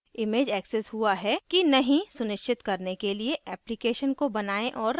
image accessed हुआ है कि नहीं सुनिश्चित करने के लिए application को बनाएँ औऱ रन करें